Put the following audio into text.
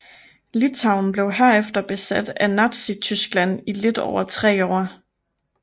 Litauen blev herefter besat af Nazityskland i lidt over tre år